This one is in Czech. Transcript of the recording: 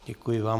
Děkuji vám.